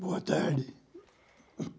Boa tarde.